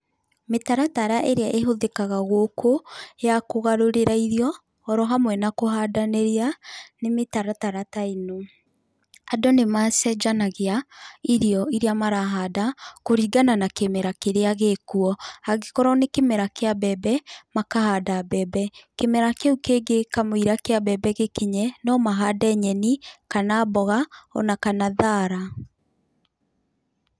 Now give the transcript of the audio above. Mĩtaratara ĩria ĩhothĩkaga gũkũ, ya kũgarũrĩra irio, ũrohamwe na kũhandanĩria nĩ mĩtaratara ta ĩno: andũ nĩ macenjanagĩa irio ĩria marahanda kũringana na kĩmera kĩrĩa gĩkuo, hangĩkorwo nĩ kĩmera kĩa mbembe, makahanda mbembe, kĩmera kĩu kĩngĩ kamũira kĩa mbembe gĩkinye, no mahande nyenĩ kana mboga ona kana thara.